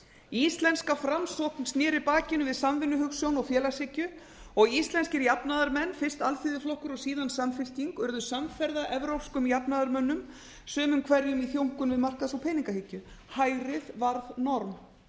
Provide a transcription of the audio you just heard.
íslenska framsókn sneri bakinu við samvinnuhugsjón og félagshyggju og íslenskir jafnaðarmenn fyrst alþýðuflokkur og síðar samfylking urðu samferða evrópskum jafnaðarmönnum sumum hverjum í þjónkun við markaðs og peningahyggju hægrið varð norm